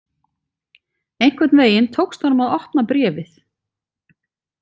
Einhvern veginn tókst honum að opna bréfið.